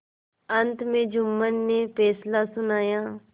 अंत में जुम्मन ने फैसला सुनाया